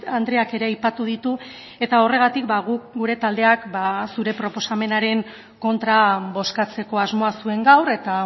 andreak ere aipatu ditu eta horregatik guk gure taldeak zure proposamenaren kontra bozkatzeko asmoa zuen gaur eta